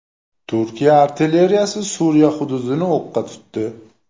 Turkiya artilleriyasi Suriya hududini o‘qqa tutdi.